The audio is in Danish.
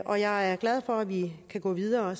og jeg er glad for at vi kan gå videre og